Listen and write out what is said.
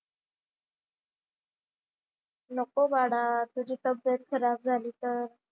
नको बाळा तुझी तब्येत खराब झाली तर?